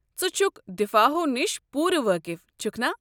ژٕ چھُکھ دفاع ہو نِش پوٗرٕ وٲقف چھُكھ نا؟